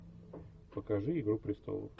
покажи игру престолов